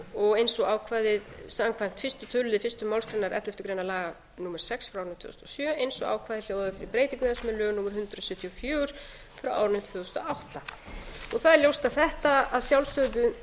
og eins og ákvæðið samkvæmt fyrsta tölulið fyrstu málsgrein elleftu grein laga númer sex tvö þúsund og sjö eins og ákvæðið hljóðaði fyrir breytingu þess með lögum númer hundrað sjötíu og fjögur tvö þúsund og átta það er ljóst að þetta að sjálfsögðu